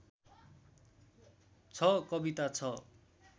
छ कविता छ